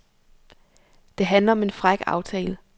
Det handler om en fræk aftale.